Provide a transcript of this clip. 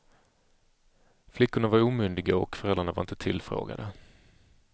Flickorna var omyndiga och föräldrarna var inte tillfrågade.